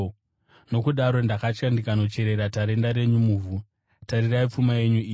Nokudaro ndakatya ndikandocherera tarenda renyu muvhu. Tarirai, pfuma yenyu iyi.’